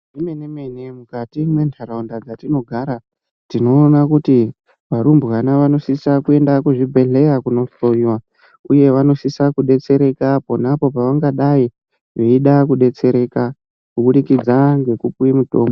Zvemene-mene mukati mentaraunda mutinogara tinoona kuti varumbwana vanosisa kuenda kuzvibhedhlera kunohloyiwa uye vanosisa kudetsereka ponapo pevangadai veida kudetsereka kuburikidza ngekupiwe mitombo.